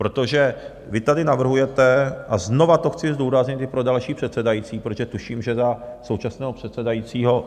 Protože vy tady navrhujete, a znovu to chci zdůraznit i pro další předsedající, protože tuším, že za současného předsedajícího...